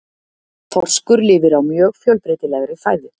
Þorskur lifir á mjög fjölbreytilegri fæðu.